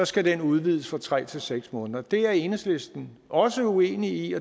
skal den udvides fra tre til seks måneder det er enhedslisten også uenig